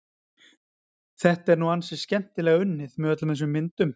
Þetta er nú ansi skemmtilega unnið, með öllum þessum myndum.